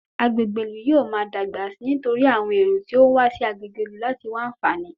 Agbègbè ìlú yóò máa dàgbà sí i nítorí àwọn ẹ̀rọ tí ó ń wá sí agbègbè ìlú láti wá àǹfààní